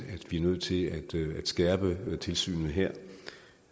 at vi er nødt til at skærpe tilsynet her